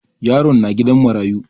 Yaron na gidan marayu.